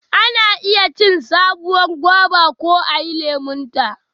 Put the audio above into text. Ana iya cin sabuwar goba ko ayi lemonta.